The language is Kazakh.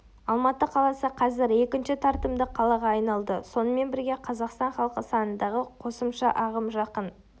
алматы қаласы қазір екінші тартымды қалаға айналды сонымен бірге қазақстан халқы санындағы қосымша ағым жақын